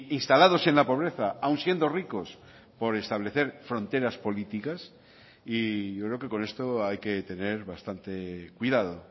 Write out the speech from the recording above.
instalados en la pobreza aun siendo ricos por establecer fronteras políticas y yo creo que con esto hay que tener bastante cuidado